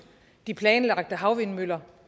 de planlagte havvindmøller